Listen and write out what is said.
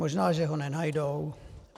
Možná, že ho nenajdou.